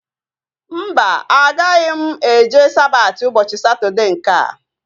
Mba, agaghị eje Sabati ụbọchị Satọdee nkea